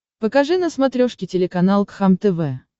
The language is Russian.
покажи на смотрешке телеканал кхлм тв